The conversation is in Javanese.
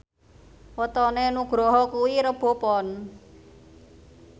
wetone Nugroho kuwi Rebo Pon